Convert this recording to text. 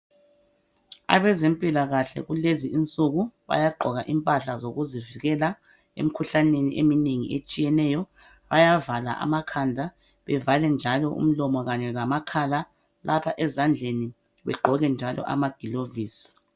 Abezempilakahle kulezi insuku bayagqoka impahla zokuzivikela emikhuhlaneni eminengi etshiyeneyo, bayavala amakhanda bevale njalo umlomo kanye lamakhala lapha ezandleni begqoke njalo amagilovisi.